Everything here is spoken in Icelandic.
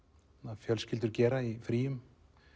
fjölskyldur gera í fríum